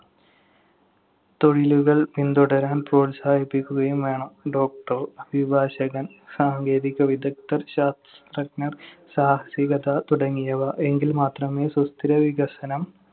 തൊഴിലുകൾ പിന്തുടരാൻ പ്രോത്സാഹിപ്പിക്കുകയും വേണം. Doctor, അഭിഭാഷകൻ, സാങ്കേതിക വിദഗ്‌ധർ, ശാസ്ത്രജ്ഞർ, സാഹസികത തുടങ്ങിയവ. എങ്കിൽ മാത്രമേ സുസ്ഥിര വികസനം